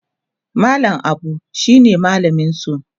mallam Abu shine mallaminsu